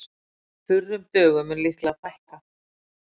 Þurrum dögum mun líklega fækka